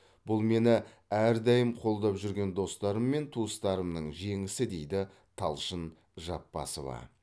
бұл мені әрдайым қолдап жүрген достарым мен туыстарымның жеңісі дейді талшын жапбасова